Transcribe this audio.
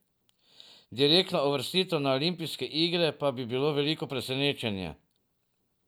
Direktna uvrstitev na olimpijske igre pa bi bilo veliko presenečenje.